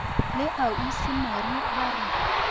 la ausi mary ba re